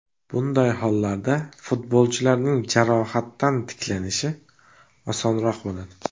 Bunday hollarda futbolchining jarohatdan tiklanishi osonroq bo‘ladi.